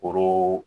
Foro